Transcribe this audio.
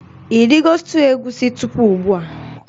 Ị rigo stuuyu egusi tupu ugbua?